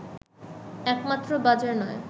একমাত্র বাজার নয়